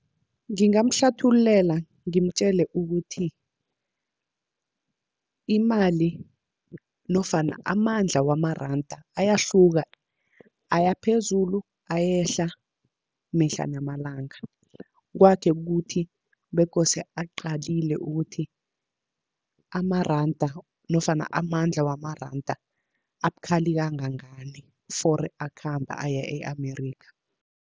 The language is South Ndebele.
Ngingamhlathululela ngimtjele ukuthi, imali nofana amandla wamaranda ayahluka aya phezulu, ayehla mihla namalanga. Kwakhe kukuthi bekose aqalile ukuthi amaranda nofana amandla wamaranda, abukhali kangangani fori akhamba aya e-Amerikha.